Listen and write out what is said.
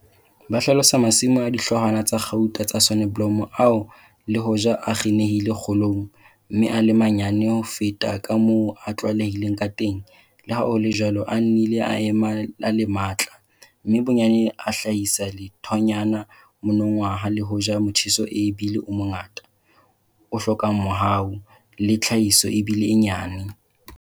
Ba hlalosa masimo a dihloohwana tsa kgauta tsa soneblomo ao le hoja a kginehile kgolong, mme a le manyane ho feta ka moo ho tlwaelehileng ka teng, le ha ho le jwalo a nnileng a ema a le matla, mme bonyane a hlahisa lethonyana monongwaha le hoja motjheso e bile o mongata, o hlokang mohau, le tlhahiso e bile e nyane.